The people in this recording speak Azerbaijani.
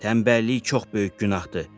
Tənbəllik çox böyük günahdır.